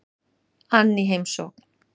ann í heimsókn.